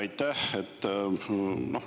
Aitäh!